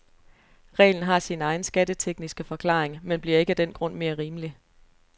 Reglen har sin egen skattetekniske forklaring, men bliver ikke af den grund mere rimelig.